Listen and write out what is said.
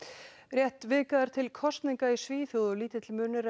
rétt vika er til kosninga í Svíþjóð og lítill munur